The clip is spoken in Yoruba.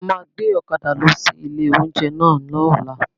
A máa gbé ọ̀kadà lọ sí ilé oúnjẹ náà lọ́la